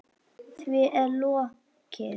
Því er lokið.